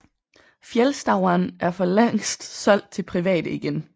Fjällstauan er for længst solgt til private igen